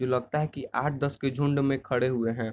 जो लगता है की आठ-दस के झुंड में खड़े हुए हैं।